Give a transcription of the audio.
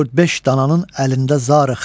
Bu dörd beş dananın əlində zarıq.